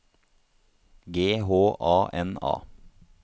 G H A N A